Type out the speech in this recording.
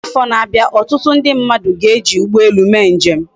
Na afo na abia, otutu ndi mmadu ga eji ugbo elu mee njem